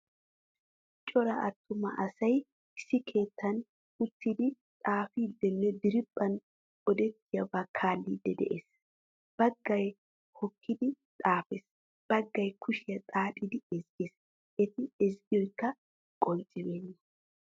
Cora attuma asay issi keettan uttidi xaafidinne diriphphan odettiyaba kaalidi de'ees. Baggaay hokkidi xaafess, baggaay kushiyaa xaaxidi ezzggees. Etti ezzggiyakko qonccibena.